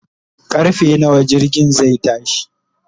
karfe nawa jirgin zai tashi?